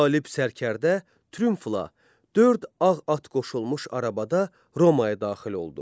Qalib sərkərdə triumfla dörd ağ at qoşulmuş arabada Romaya daxil oldu.